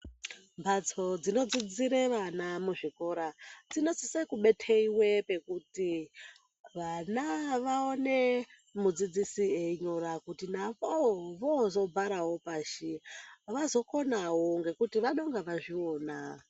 Mbatso dzinodzidzire vana muzvikora zvinosise kubeteiwe kuti vana vaone mudzidzisi eyinyora kuti navo, vozobarawo pashi, vazokonawo ngekuti vanonge va chiona.